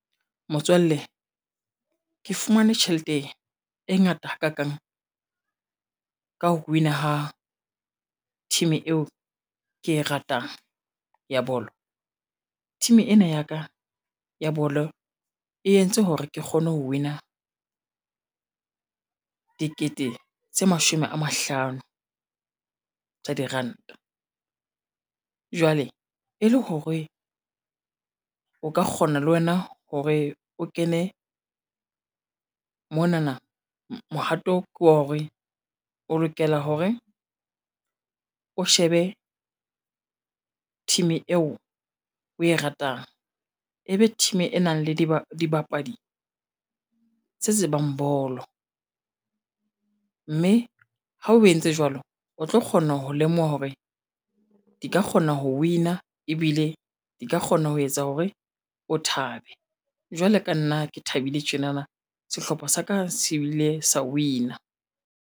Motswalle, ke fumane tjhelete e ngata hakakang ka ho win-a ha team eo ke e ratang ya bolo. Team ena ya ka ya bolo e entse hore ke kgone ho win-a dikete tse mashome a mahlano tsa diranta jwale e le hore o ka kgona le wena hore o kene monana mohato ke wa hore o lokela hore o shebe team eo o e ratang, e be team e nang le dibapadi tse tsebang bolo mme ha o entse jwalo, o tlo kgona ho lemoha hore di ka kgona ho win-a ebile di ka kgona ho etsa hore o thabe jwalo ka nna ke thabile tjenana, sehlopha sa ka se ile sa win-a.